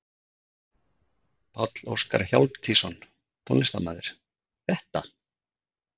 Páll Óskar Hjálmtýsson, tónlistarmaður: Þetta?